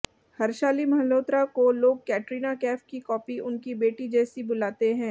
हर्शाली मल्होत्रा को लोग कैटरीना कैफ की कॉपी उनकी बेटी जैसी बुलाते हैं